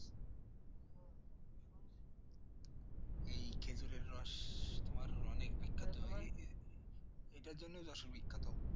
এই খেজুরের রস তোমার অনেক এটার জন্যই যশোর বিখ্যাত